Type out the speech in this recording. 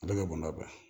A bɛ ka gɔnɔba